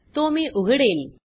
तो मी उघडेल